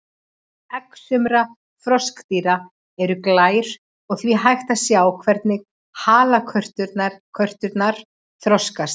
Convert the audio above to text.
Egg sumra froskdýra eru glær og því hægt að sjá hvernig halakörturnar þroskast.